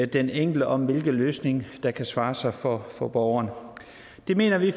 den enkelte om hvilke løsninger der kan svare sig for for borgeren det mener vi